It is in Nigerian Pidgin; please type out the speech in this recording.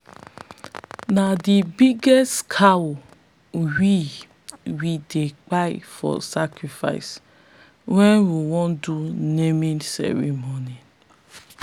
na the biggest cow we we dey kpai for sacrifice when we wan do naming ceremony.